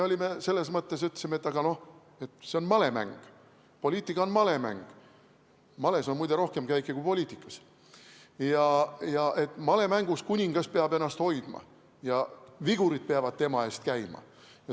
Me selles mõttes ütlesime, aga et see on malemäng, poliitika on malemäng , malemängus kuningas peab ennast hoidma ja vigurid peavad tema eest käima.